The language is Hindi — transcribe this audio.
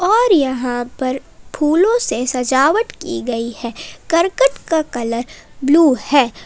और यहां पर फूलों से सजावट की गई है करकट का कलर ब्लू है।